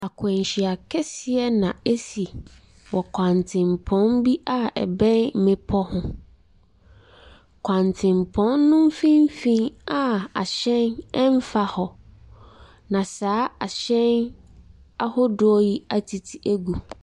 Akwanhyia kɛseɛ na asi wɔ kwantempɔn bi a ɛbɛn mmepɔ ho. Kwantempɔn no mfimfini a ahyɛn mfa hɔ na saa ahyɛn yi atete agu.